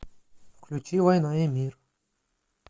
включи война и мир